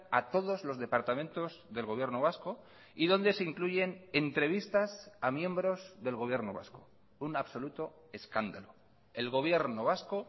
a todos los departamentos del gobierno vasco y donde se incluyen entrevistas a miembros del gobierno vasco un absoluto escándalo el gobierno vasco